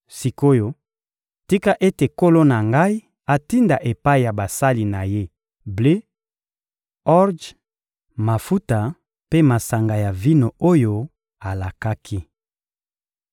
Sik’oyo, tika ete nkolo na ngai atinda epai ya basali na ye ble, orje, mafuta mpe masanga ya vino oyo alakaki.